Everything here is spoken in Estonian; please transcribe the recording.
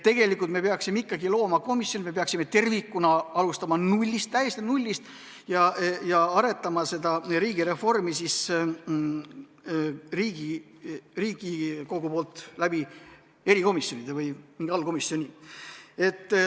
Me peaksime ikkagi looma komisjoni, me peaksime tervikuna alustama täiesti nullist ja arendama riigireformi Riigikogu poolt erikomisjonide või mingi allkomisjoni kaudu.